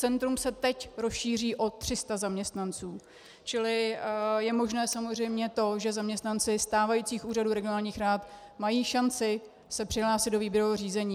Centrum se teď rozšíří o 300 zaměstnanců, čili je možné samozřejmě to, že zaměstnanci stávajících úřadů regionálních rad mají šanci se přihlásit do výběrového řízení.